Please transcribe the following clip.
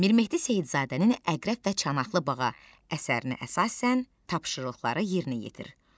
Mirmehdi Seyidzadənin "Əqrəb və Çanaqlı Bağac" əsərinə əsasən tapşırıqları yerinə yetir.